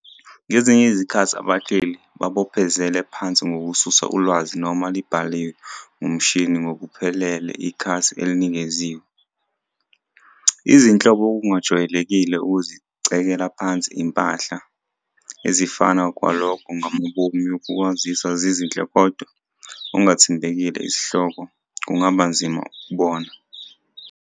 Ngezinye izikhathi abahleli babophezela phansi ngokususa ulwazi noma libhaliwe ngumtshini ngokuphelele ikhasi elinikeziwe. Izinhlobo Okungajwayelekile ukuzicekela phansi impahla, ezifana kwalokho ngamabomu yokwaziswa zizinhle kodwa ongathembekile isihloko, kungaba nzima ukubona.